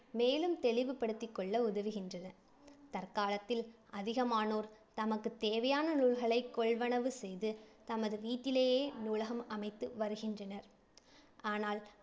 மேலும் தெளிவுபடுத்திக் கொள்ள உதவுகின்றன. தற்காலத்தில் அதிகமானோர் தமக்கு தேவையான நூல்களை கொள்வனவு செய்து தமது வீட்டிலேயே நூலகம் அமைத்து வருகின்றனர். ஆனால்